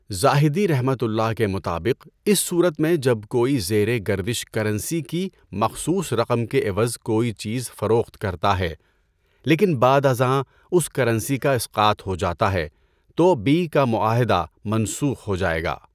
زاہدیؒ کے مطابق اس صورت میں جب کوئی زیر گردش کرنسی کی مخصوص رقم کے عوض کوئی چیز فروخت کرتا ہے لیکن بعد ازاں اس کرنسی کا اسقاط ہو جاتا ہے تو بیع کا معاہدہ منسوخ ہو جائے گا۔